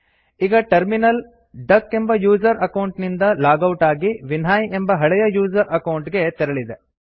ಈಗ terminal duck ಎಂಬ user account ನಿಂದ ಲಾಗ್ ಔಟ್ ಆಗಿ ವಿನ್ಹೈ ಎಂಬ ಹಳೆಯ ಯೂಸರ್ ಅಕೌಂಟ್ ಗೆ ತೆರಳಿದೆ